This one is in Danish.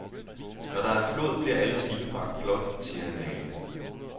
Når der er flod, bliver alle skibe bragt flot, siger han malende.